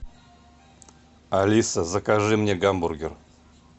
алиса закажи мне гамбургер